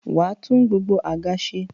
wà á tún gbogbo àga se.